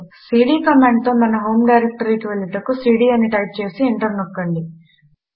CD కమాండుతో మన home డైరెక్టరీకి వెళ్ళుటకు సీడీ అని టైప్ చేసి ఎంటర్ నొక్కండి